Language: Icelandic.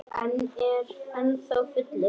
Ég er ennþá fullur.